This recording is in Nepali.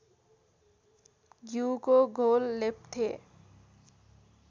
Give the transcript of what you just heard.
घ्यूको घोल लेप्थे